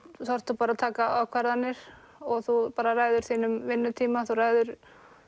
þarftu að taka ákvarðanir og þú ræður þínum vinnutíma þú ræður